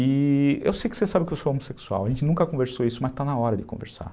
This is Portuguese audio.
E eu sei que você sabe que eu sou homossexual, a gente nunca conversou isso, mas está na hora de conversar.